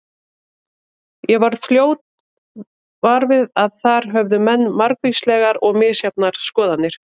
Ég varð fljótt var við að þar höfðu menn margvíslegar og misjafnar skoðanir.